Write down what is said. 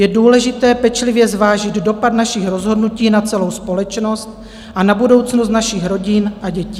Je důležité pečlivě zvážit dopad našich rozhodnutí na celou společnost a na budoucnost našich rodin a dětí.